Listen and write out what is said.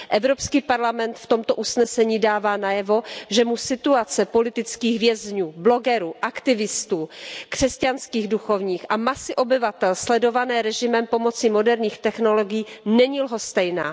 Evropský parlament v tomto usnesení dává najevo, že mu situace politických vězňů, blogerů, aktivistů, křesťanských duchovních a masy obyvatel sledované režimem pomocí moderních technologií není lhostejná.